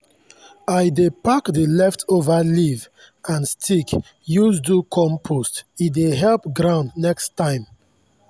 i dey pack the leftover leaf and stick use do compost e dey help ground next time.